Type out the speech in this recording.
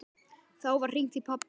Þá var hringt í pabba.